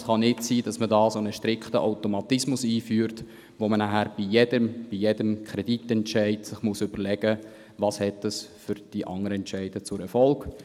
Allerdings kann es nicht sein, dass man einen strikten Automatismus einführt und danach bei jedem Kreditentscheid überlegen muss, welche Folgen dies für die anderen Entscheide hat.